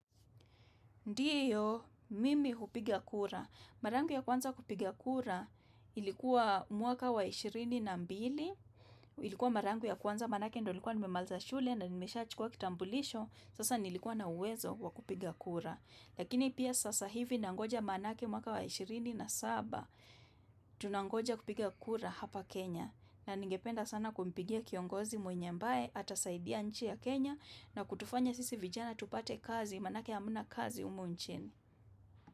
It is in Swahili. Ndiyo, mimi hupiga kura. Mara yangu ya kwanza kupiga kura ilikuwa mwaka wa ishirini na mbili, ilikuwa mara yangu ya kwanza manake ndo ilikuwa nimemaliza shule na nimeshachukua kitambulisho sasa nilikuwa na uwezo kwa kupiga kura. Lakini pia sasa hivi nangoja manake mwaka wa ishirini na saba tunangoja kupiga kura hapa Kenya. Na ningependa sana kumpigia kiongozi mwenye ambaye atasaidia nchi ya Kenya na kutufanya sisi vijana tupate kazi manake hamna kazi humu nchini.